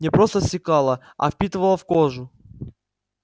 не просто стекала а впитывала в кожу